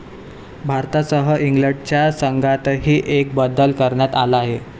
भारतासह इंग्लंडच्या संघातही एक बदल करण्यात आला आहे.